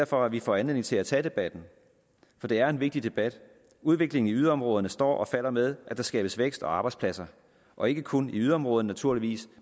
for at vi får anledning til at tage debatten for det er en vigtig debat udviklingen i yderområderne står og falder med at der skabes vækst og arbejdspladser og ikke kun i yderområderne naturligvis